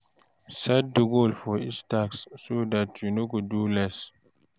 Set di goals for each tasks so dat you no go do less